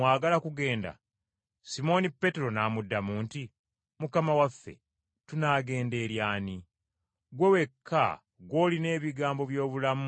Simooni Peetero n’amuddamu nti, “Mukama waffe, tunaagenda eri ani? Ggwe wekka gw’olina ebigambo by’obulamu obutaggwaawo.